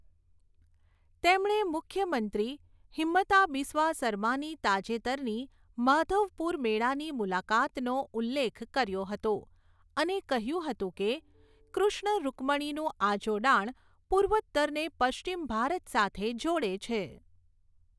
તેમણે મુખ્યમંત્રી હિમંતા બિસ્વા સરમાની તાજેતરની માધવપુર મેળાની મુલાકાતનો ઉલ્લેખ કર્યો હતો અને કહ્યું હતું કે, કૃષ્ણ ઋકમણિનું આ જોડાણ પૂર્વોત્તરને પશ્ચિમ ભારત સાથે જોડે છે.